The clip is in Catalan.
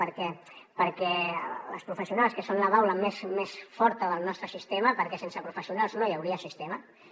perquè les professionals que són la baula més forta del nostre sistema perquè sense professionals no hi hauria sistema